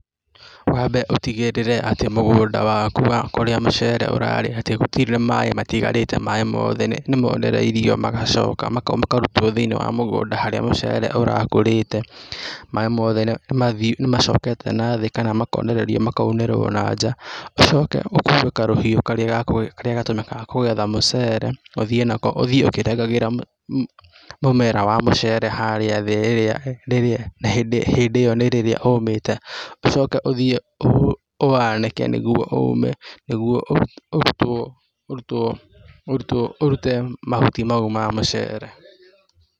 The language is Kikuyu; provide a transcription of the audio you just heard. Wambe ũtigĩrĩre atĩ mũgũnda waku wa kũrĩa mũcere ํ ũrarĩ atĩ gũtirĩ na maaĩ matigarĩte, maaĩ mothe nĩmonereirio magacoka makarutwo thĩinĩ wa mũgũnda harĩa mũcere ũrakũrĩte, maaĩ mothe nĩmathiu, nĩmacokete nathĩ kana makonererio makaunĩrwo na nja. Ũcoke ũkue karũhiũ karĩa gatũmĩkaga kũgetha mũcere, ũthiĩ nako ũthiĩ ũkĩrengagĩra mũmera wa mũcere harĩa thĩ. Hĩndĩ ĩyo nĩ rĩrĩa ũmĩte ũcoke ũthiĩ ũwanĩke nĩguonĩguo ũrutwo, ũrute mahuti mau ma mũcere.